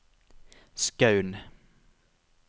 Skaun